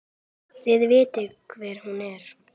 Þið vitið hver hún er!